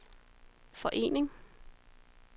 forening